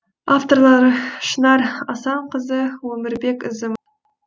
авторлары шынар асанқызы өмірбек ізім